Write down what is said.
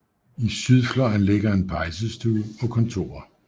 I sydfløjen ligger en pejsestue og kontorer